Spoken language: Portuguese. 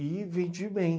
E vendi bem.